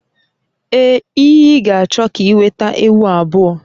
Ee, iyi iyi ga-achọ ka ị weta ewu abụọ